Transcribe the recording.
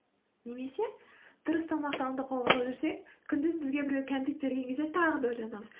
немесе дұрыс тамақтануды қолға алып жүрсек күндіз бізге біреу кәмпит берген кезде тағы да ойланамыз